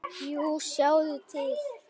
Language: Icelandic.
Jú, sjáðu til!